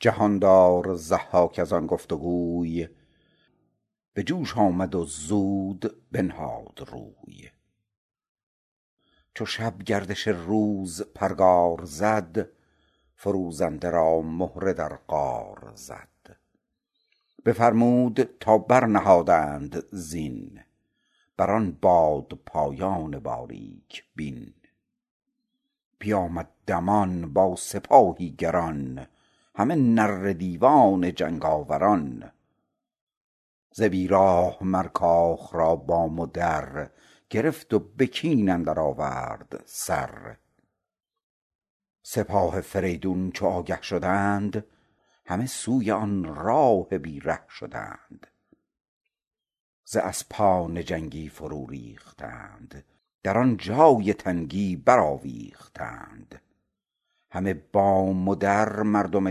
جهاندار ضحاک از آن گفت گوی به جوش آمد و زود بنهاد روی چو شب گردش روز پرگار زد فروزنده را مهره در قار زد بفرمود تا برنهادند زین بر آن بادپایان باریک بین بیامد دمان با سپاهی گران همه نره دیوان جنگاوران ز بی راه مر کاخ را بام و در گرفت و به کین اندر آورد سر سپاه فریدون چو آگه شدند همه سوی آن راه بی ره شدند ز اسپان جنگی فرو ریختند در آن جای تنگی برآویختند همه بام و در مردم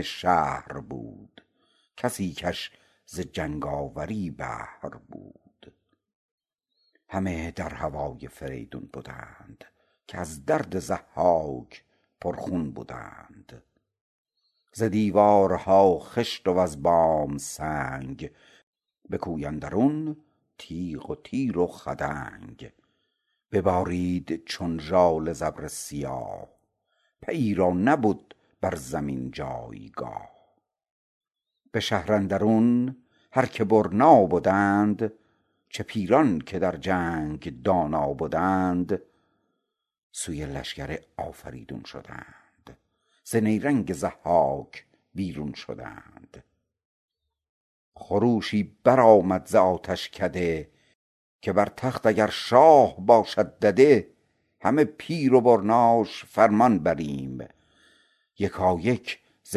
شهر بود کسی کش ز جنگاوری بهر بود همه در هوای فریدون بدند که از درد ضحاک پرخون بدند ز دیوارها خشت وز بام سنگ به کوی اندرون تیغ و تیر و خدنگ ببارید چون ژاله ز ابر سیاه پیی را نبد بر زمین جایگاه به شهر اندرون هر که برنا بدند چه پیران که در جنگ دانا بدند سوی لشکر آفریدون شدند ز نیرنگ ضحاک بیرون شدند خروشی برآمد ز آتشکده که بر تخت اگر شاه باشد دده همه پیر و برناش فرمان بریم یکایک ز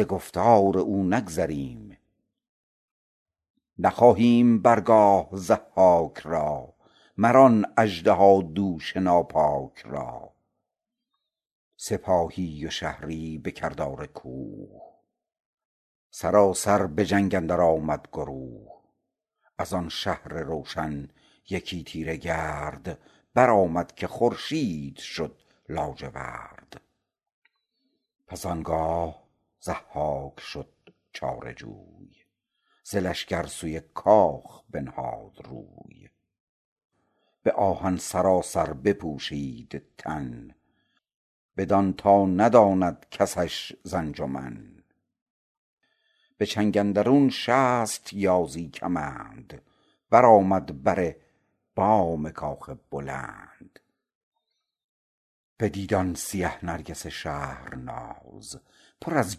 گفتار او نگذریم نخواهیم بر گاه ضحاک را مر آن اژدهادوش ناپاک را سپاهی و شهری به کردار کوه سراسر به جنگ اندر آمد گروه از آن شهر روشن یکی تیره گرد برآمد که خورشید شد لاجورد پس آنگاه ضحاک شد چاره جوی ز لشکر سوی کاخ بنهاد روی به آهن سراسر بپوشید تن بدان تا نداند کسش ز انجمن به چنگ اندرون شست یازی کمند برآمد بر بام کاخ بلند بدید آن سیه نرگس شهرناز پر از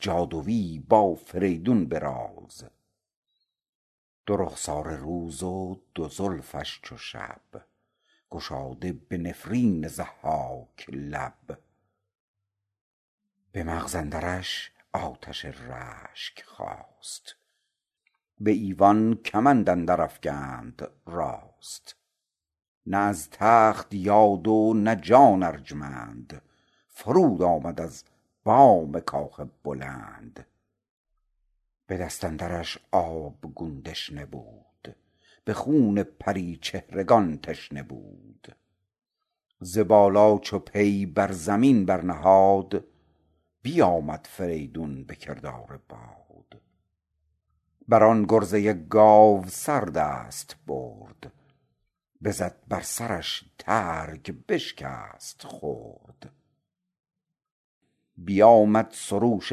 جادویی با فریدون به راز دو رخساره روز و دو زلفش چو شب گشاده به نفرین ضحاک لب به مغز اندرش آتش رشک خاست به ایوان کمند اندر افگند راست نه از تخت یاد و نه جان ارجمند فرود آمد از بام کاخ بلند به دست اندرش آبگون دشنه بود به خون پریچهرگان تشنه بود ز بالا چو پی بر زمین برنهاد بیآمد فریدون به کردار باد بر آن گرزه گاوسر دست برد بزد بر سرش ترگ بشکست خرد بیآمد سروش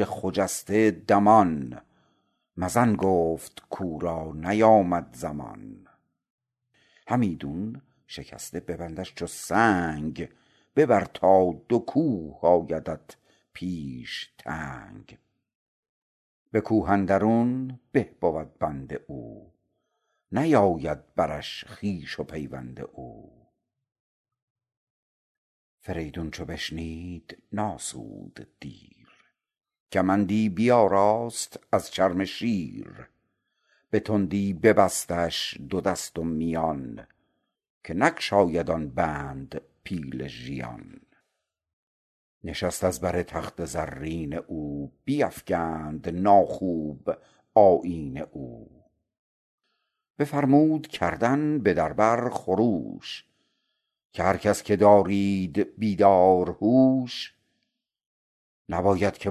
خجسته دمان مزن گفت کاو را نیامد زمان همیدون شکسته ببندش چو سنگ ببر تا دو کوه آیدت پیش تنگ به کوه اندرون به بود بند او نیاید برش خویش و پیوند او فریدون چو بشنید نآسود دیر کمندی بیاراست از چرم شیر به تندی ببستش دو دست و میان که نگشاید آن بند پیل ژیان نشست از بر تخت زرین او بیفگند ناخوب آیین او بفرمود کردن به در بر خروش که هر کس که دارید بیدار هوش نباید که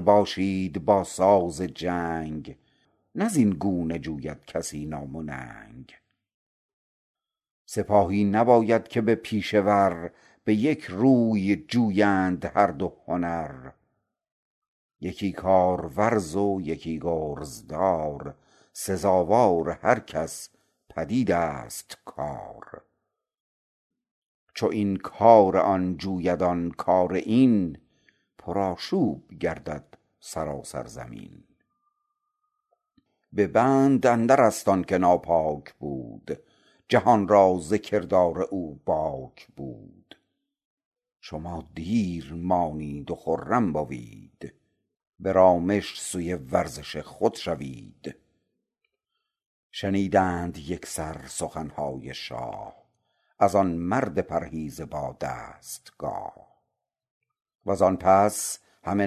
باشید با ساز جنگ نه زین گونه جوید کسی نام و ننگ سپاهی نباید که با پیشه ور به یک روی جویند هر دو هنر یکی کارورز و یکی گرزدار سزاوار هر کس پدید است کار چو این کار آن جوید آن کار این پرآشوب گردد سراسر زمین به بند اندر است آن که ناپاک بود جهان را ز کردار او باک بود شما دیر مانید و خرم بوید به رامش سوی ورزش خود شوید شنیدند یکسر سخنهای شاه از آن مرد پرهیز با دستگاه وز آن پس همه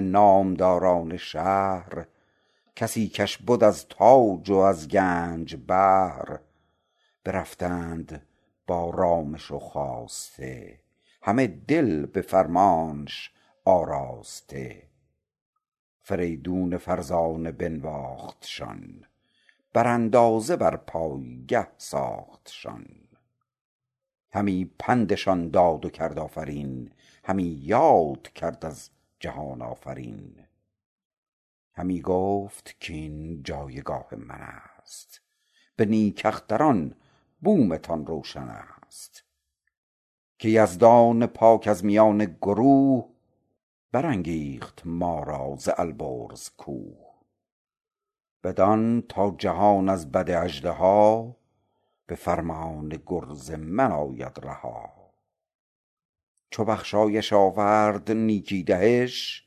نامداران شهر کسی کش بد از تاج وز گنج بهر برفتند با رامش و خواسته همه دل به فرمانش آراسته فریدون فرزانه بنواختشان بر اندازه بر پایگه ساختشان همی پندشان داد و کرد آفرین همی یاد کرد از جهان آفرین همی گفت کاین جایگاه من است به نیک اختر بومتان روشن است که یزدان پاک از میان گروه برانگیخت ما را ز البرز کوه بدان تا جهان از بد اژدها به فرمان گرز من آید رها چو بخشایش آورد نیکی دهش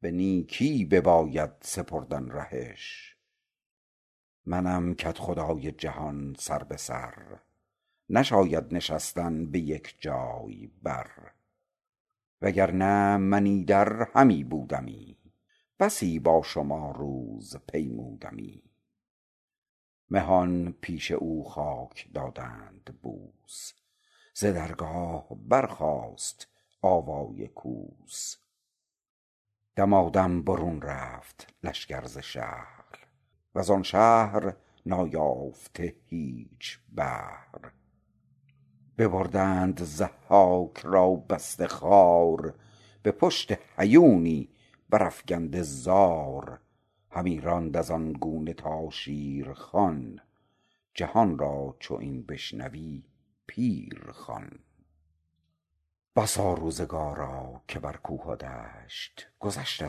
به نیکی بباید سپردن رهش منم کدخدای جهان سر به سر نشاید نشستن به یک جای بر وگر نه من ایدر همی بودمی بسی با شما روز پیمودمی مهان پیش او خاک دادند بوس ز درگاه برخاست آوای کوس دمادم برون رفت لشکر ز شهر وز آن شهر نایافته هیچ بهر ببردند ضحاک را بسته خوار به پشت هیونی برافگنده زار همی راند از این گونه تا شیرخوان جهان را چو این بشنوی پیر خوان بسا روزگارا که بر کوه و دشت گذشته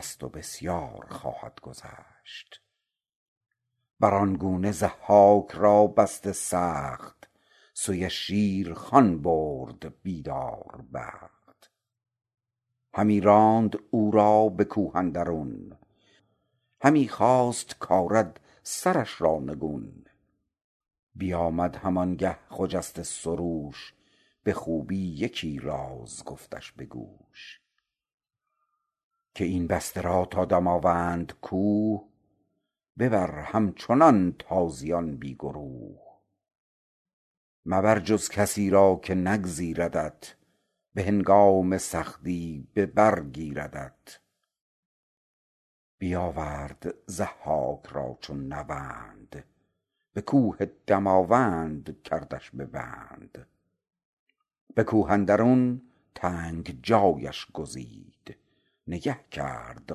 ست و بسیار خواهد گذشت بر آن گونه ضحاک را بسته سخت سوی شیرخوان برد بیداربخت همی راند او را به کوه اندرون همی خواست کآرد سرش را نگون بیآمد هم آن گه خجسته سروش به خوبی یکی راز گفتش به گوش که این بسته را تا دماوند کوه ببر همچنان تازیان بی گروه مبر جز کسی را که نگزیردت به هنگام سختی به بر گیردت بیآورد ضحاک را چون نوند به کوه دماوند کردش به بند به کوه اندرون تنگ جایش گزید نگه کرد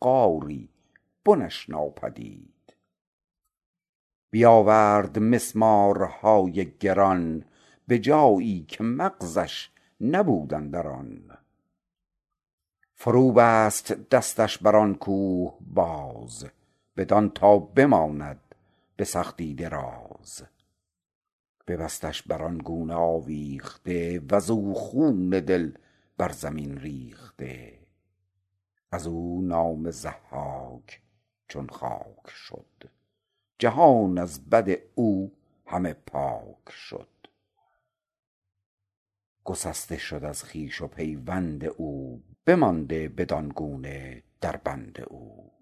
غاری بنش ناپدید بیآورد مسمارهای گران به جایی که مغزش نبود اندران فرو بست دستش بر آن کوه باز بدان تا بماند به سختی دراز ببستش بر آن گونه آویخته وز او خون دل بر زمین ریخته از او نام ضحاک چون خاک شد جهان از بد او همه پاک شد گسسته شد از خویش و پیوند او بمانده بدان گونه در بند او